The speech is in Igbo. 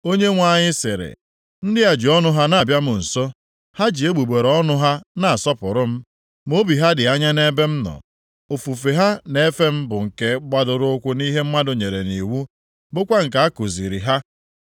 Onyenwe anyị sịrị, “Ndị a ji ọnụ ha na-abịa m nso, ha ji egbugbere ọnụ ha na-asọpụrụ m, ma obi ha dị anya nʼebe m nọ. Ofufe ha na-efe m, bụ nke gbadoro ụkwụ nʼihe mmadụ nyere nʼiwu, bụkwa nke a kuziiri ha.